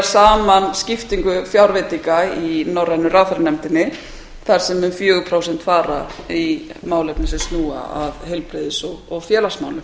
saman skiptingu fjárveitinga í norrænu ráðherranefndinni þar sem um fjögur prósent fara í málefni sem snúa að heilbrigðis og félagsmálum